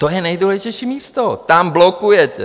To je nejdůležitější místo, tam blokujete.